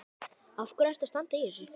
Af hverju ertu að standa í þessu?